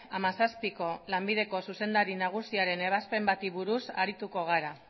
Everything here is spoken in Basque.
hamazazpiko lanbideko zuzendari nagusiaren ebazpen bati buruz arituko gara